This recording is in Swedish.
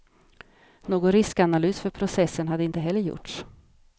Någon riskanalys för processen hade heller inte gjorts.